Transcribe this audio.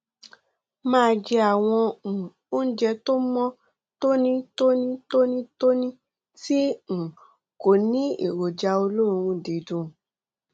máa jẹ àwọn um oúnjẹ tó mọ tónítóní tónítóní tí um kò ní èròjà olóòórùn dídùn